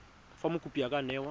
fa mokopi a ka newa